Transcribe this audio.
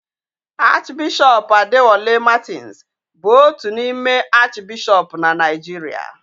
Arch Bishop Adewale Martins bụ otu n'ime Arch bishọp na Naijiria